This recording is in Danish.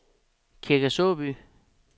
Kirke Såby